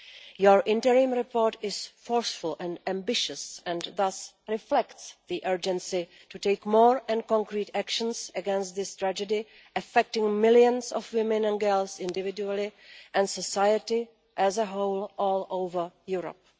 Your interim report is forceful and ambitious and thus reflects the urgency to take more and concrete actions against this tragedy, affecting millions of women and girls individually and society as a whole, all over Europe.